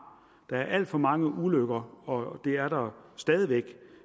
der er alt for mange ulykker og det er der stadig væk